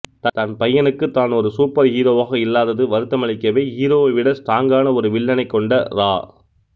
தன் பையனுக்கு தான் ஒரு சூப்பர் ஹீரோவாக இல்லாதது வருத்தமளிக்கவே ஹீரோவை விட ஸ்ட்ராங்கான ஒரு வில்லனைக் கொண்ட ரா